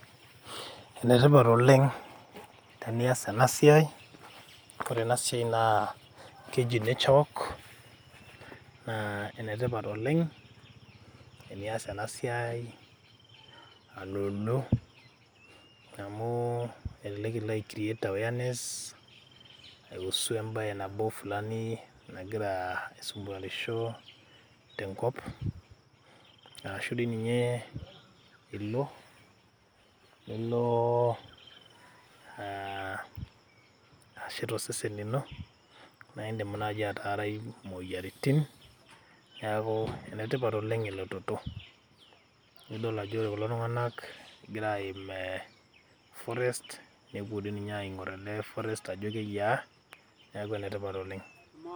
Ene tipat oleng tenias ena siai . Ore ena siai naa keji nature walk naa ene tipat oleng tenias ena siai aloolo amu elelek ilo ai create awareness kuhusu embae nabo fulani nagira aisumwarisho tenkop , ashu dii ninye ilo , nilo aa ashet osesen lino naa indim naji ataarai imoyiaritin neeku ene tipat oleng elototo. Nidol ajo ore kulo tunganak egira aim e forest nepuo dii ninye aingor ele forest ajo keyiaa, niaku ene tipat oleng.